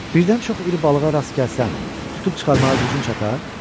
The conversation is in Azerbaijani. Birdən çox iri balığa rast gəlsən, tutub çıxarmağa gücün çatar?